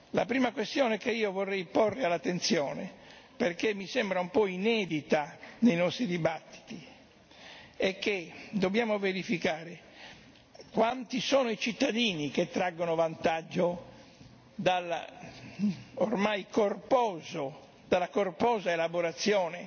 La prima questione che io vorrei porre all'attenzione, perché mi sembra un po' inedita nei nostri dibattiti, è che dobbiamo verificare quanti sono i cittadini che traggono vantaggio dalla ormai corposa elaborazione